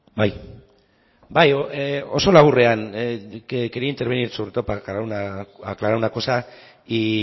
bai oso laburrean quería intervenir sobre todo aclarar una cosa y